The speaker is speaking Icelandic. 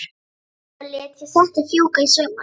Svo lét ég settið fjúka í sumar.